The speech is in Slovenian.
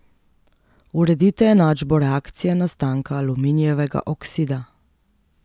Uredite enačbo reakcije nastanka aluminijevega oksida.